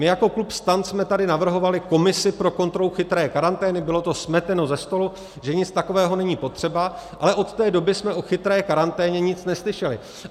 My jako klub STAN jsme tady navrhovali komisi pro kontrolu chytré karantény, bylo to smeteno ze stolu, že nic takového není potřeba, ale od té doby jsme o chytré karanténě nic neslyšeli.